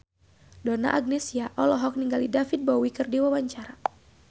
Donna Agnesia olohok ningali David Bowie keur diwawancara